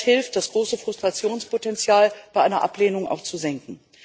Denn das hilft, das große Frustrationspotenzial bei einer Ablehnung auch zu senken.